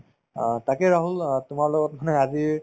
অ, তাকে ৰাহুল অ তোমাৰ লগত মানে আজি